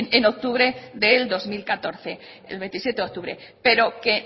en octubre del dos mil catorce el veintisiete de octubre pero que